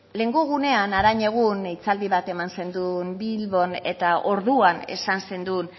lehenengo egunean harainegun hitzaldi bat eman zenuen bilbon eta orduan esan zenuen